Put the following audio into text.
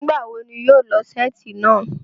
Nigbawo ni iwọ yóò lọọ seeti naa?